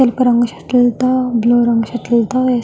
తెలుపు రంగు షర్టు లతో బ్లూ షర్టు లతో --